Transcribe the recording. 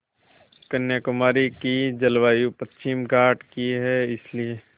कन्याकुमारी की जलवायु पश्चिमी घाट की है इसलिए